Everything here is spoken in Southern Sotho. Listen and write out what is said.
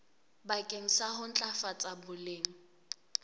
bakeng sa ho ntlafatsa boleng